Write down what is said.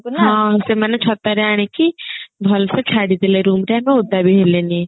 ହଁ ସେମାନେ ଛତା ରେ ଆଣିକି ଭଲସେ ଛାଡି ଦେଲେ room ରେ ଆମେ ଓଦା ବି ହେଲେନି